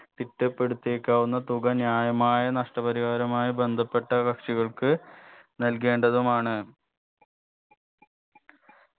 തിട്ടപ്പെടുത്തിയേക്കാവുന്ന തുക ന്യായമായ നഷ്ടപരിഹാരമായ ബന്ധപ്പെട്ട കക്ഷികൾക്ക് നൽകേണ്ടതുമാണ്